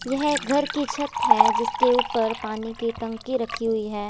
यह एक घर की छत है जिसके ऊपर पानी की टंकी रखी हुई है।